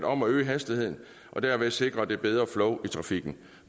om at øge hastigheden og derved sikre et bedre flow i trafikken